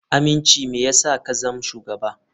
Aminci me yasa ka zama shugaba.